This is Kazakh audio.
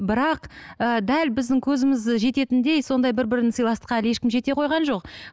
бірақ ыыы дәл біздің көзіміз жететіндей сондай бір бірін сыйластыққа әлі ешкім жете қойған жоқ